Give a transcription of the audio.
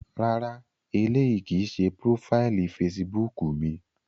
Rárá, éleyi kii ṣe profaili Fèsìbúukù mi.